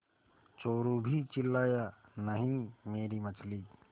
चोरु भी चिल्लाया नहींमेरी मछली